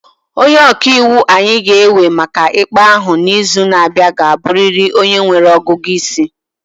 Onye ọka iwu anyị ga-ewe maka ikpe ahụ n'izu na-abịa ga-abụrịrị onye nwere ọgụgụ isi.